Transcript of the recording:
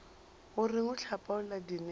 o reng o hlapaola dinepo